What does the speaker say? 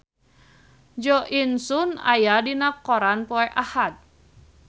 Jo In Sung aya dina koran poe Ahad